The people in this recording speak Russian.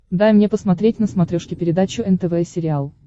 дай мне посмотреть на смотрешке передачу нтв сериал